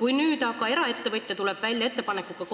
Kui nüüd aga eraettevõtja tuleb välja ettepanekuga